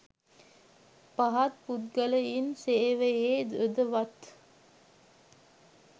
පහත් පුද්ගලයින් සේවයේ යොදවත්.